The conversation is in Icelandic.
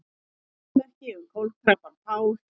Minnismerki um kolkrabbann Pál